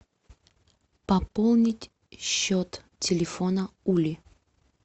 пополнить счет телефона ули